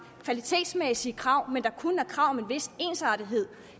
kvalitetsmæssige krav men at der kun er krav om en vis ensartethed